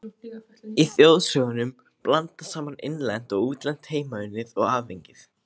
Í þjóðsögunum blandast saman innlent og útlent, heimaunnið og aðfengið.